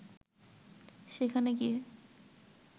সেখানে গিয়ে